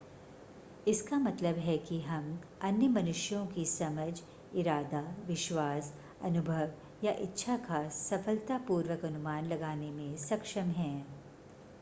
इसका मतलब है कि हम अन्य मनुष्यों की समझ इरादा विश्वास अनुभव या इच्छा का सफलतापूर्वक अनुमान लगाने में सक्षम हैं